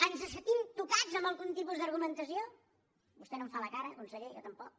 ens sentim tocats amb algun tipus d’argumentació vostè no en fa la cara conseller jo tampoc